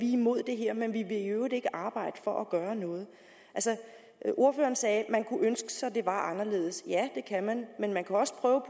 imod det her men vi vil i øvrigt ikke arbejde for at gøre noget ordføreren sagde at man kunne ønske sig at det var anderledes ja det kan man men man kan også prøve